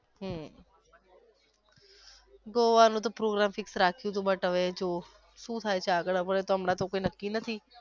હમ, goa નો તો program fix રાખયું તું but હવે જોવ શું થાય છેઆગળ હવે હમણાં તો કઈ નક્કી નથી.